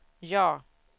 ja